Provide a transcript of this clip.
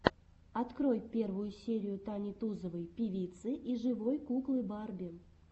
открой первую серию тани тузовой певицы и живой куклы барби